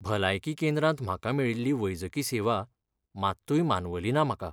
भलायकी केंद्रांत म्हाका मेळिल्ली वैजकी सेवा मात्तूय मानवली ना म्हाका.